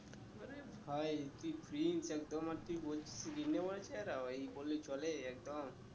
ভাই তুই please ওই বললে চলে একদম